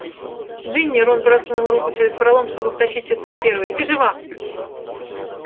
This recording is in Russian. джинни рон просунул руку через пролом чтобы втащить сестру первой ты жива